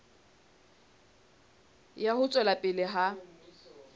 ya ho tswela pele ha